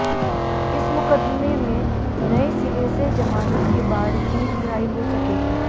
इस मुकदमे में नए सिरे से जमानत के बाद ही रिहाई हो सकेगी